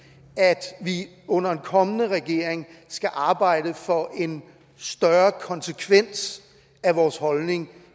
at vi under en kommende regering skal arbejde for en større konsekvens af vores holdning